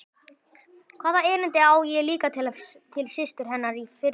Hvaða erindi á ég líka til systur hennar í Firðinum?